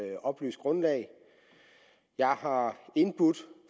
oplyst grundlag jeg har indbudt